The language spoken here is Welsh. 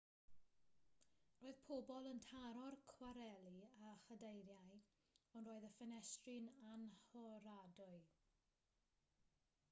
roedd pobl yn taro'r cwareli â chadeiriau ond roedd y ffenestri'n annhoradwy